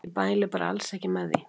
Ég mæli bara alls ekki með því.